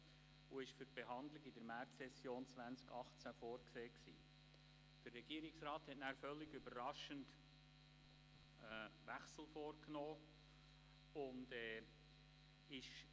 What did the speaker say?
Sie war für die Behandlung in der Märzsession 2018 vorgesehen, doch der Regierungsrat nahm völlig überraschend einen Wechsel vor.